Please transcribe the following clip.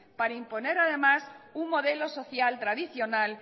para imponer además un modelo social tradicional